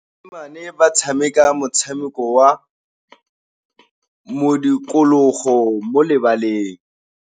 Basimane ba tshameka motshameko wa modikologô mo lebaleng.